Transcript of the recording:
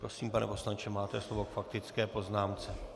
Prosím, pane poslanče, máte slovo k faktické poznámce.